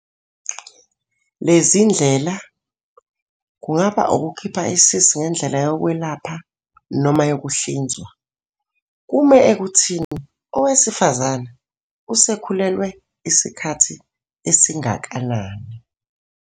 Lezi zindlela, kungaba ukukhipha isisu ngendlela yokwelapha noma yokuhlinzwa, kume ekuthini owesifazane usekhulelwe isikhathi esingakanani.